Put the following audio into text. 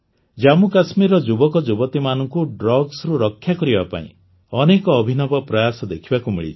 ଜାମ୍ମୁକାଶ୍ମୀରର ଯୁବକଯୁବତୀମାନଙ୍କୁ Drugsରୁ ରକ୍ଷା କରିବା ପାଇଁ ଅନେକ ଅଭିନବ ପ୍ରୟାସ ଦେଖିବାକୁ ମିଳିଛି